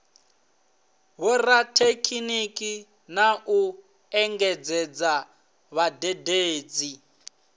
vhorathekhiniki na u engedzadza vhadededzi